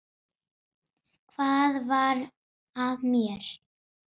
Hvað varð af mér?